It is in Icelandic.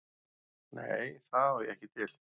Nei, það á ég ekki til.